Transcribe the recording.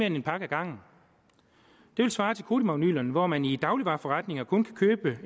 en pakke ad gangen det ville svare til kodimagnylerne hvor man i dagligvareforretninger kun kan købe